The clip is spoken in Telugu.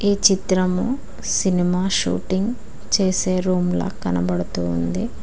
ఈ చిత్రము సినిమా షూటింగ్ చేసే రూమ్ల కనపడుతుంది.